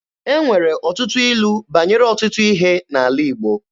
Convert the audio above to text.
E nwere ọtụtụ ilu banyere ọtụtụ ihe n'ala Igbo.